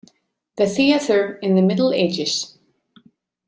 The Theatre in the Middle Ages.